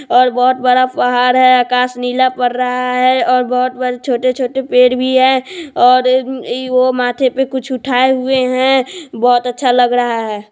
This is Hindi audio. --और बहुत बड़ा पहाड़ है आकाश नीला पड़ रहा है और बहुत छोटे-छोटे पेड़ भी है और इ ओ माथे पे कुछ उठाए हुए है बहुत अच्छा लग रहा है।